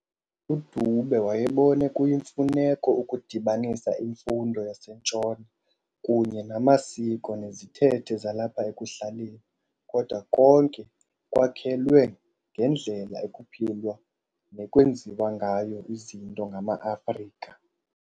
UDube wayebone kuyimfuneko ukudibanisa imfundo yaseNtshona kunye namasiko nezithethe zalapha ekuhlaleni, kodwa konke kwakhelwe ngendlela ekuphilwa nekwenziwa ngayo izinto ngama-Afrika.